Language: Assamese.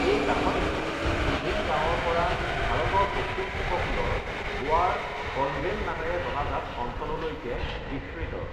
এই গাঁথনিটো তিভিম গাৱঁৰ পৰা ভাৰতৰ পশ্চিম উপকূলৰ গোৱাৰ কলভেল নামেৰে জনাজাত অঞ্চললৈকে বিস্তৃত।